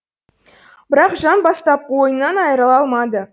бірақ жан бастапқы ойынан айрыла алмады